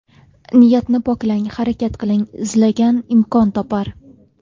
Niyatni poklang, harakat qiling, izlagan imkon topar.